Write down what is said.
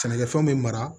Sɛnɛkɛfɛnw bɛ mara